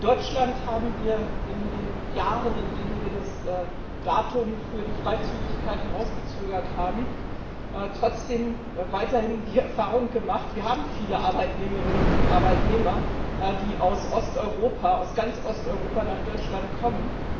In Deutschland haben wir in den Jahren, in denen wir das Datum für die Freizügigkeit hinausgezögert haben, trotzdem weiterhin die Erfahrung gemacht Wir haben viele Arbeitnehmerinnen und Arbeitnehmer, die aus Osteuropa, aus ganz Osteuropa nach Deutschland kommen.